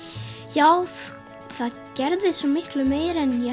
já það gerðist svo miklu meira en ég